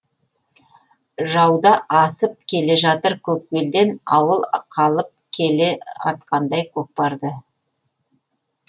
жауда асып келе жатыр көк белден ауыл қалып келеатқандай көкпарды